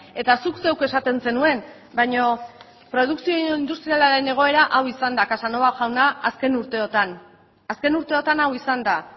eta zuk zeuk esaten zenuen baina produkzio industrialaren egoera hau izan da casanova jauna azken urteotan azken urteotan hau izan da